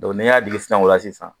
n'i y'a jigin sisan o la sisan